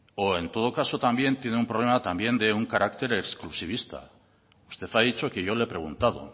o en todo caso también tiene un problema de un carácter exclusivista usted ha dicho que yo le he preguntado